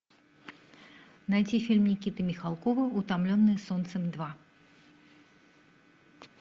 найти фильм никиты михалкова утомленные солнцем два